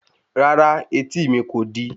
Rárá, etí mi kò di